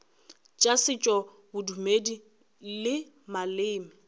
tša setšo bodumedi le maleme